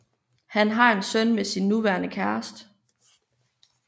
Han har en søn med sin nuværende kæreste